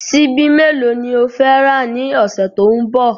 Ṣíbí mélòó ni o fẹ́ rà ní ọ̀sẹ̀ tó ń bọ̀?